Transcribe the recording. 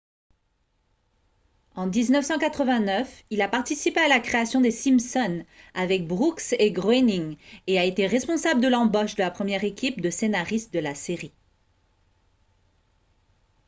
en 1989 il a participé à la création des simpsons avec brooks et groening et a été responsable de l'embauche de la première équipe de scénaristes de la série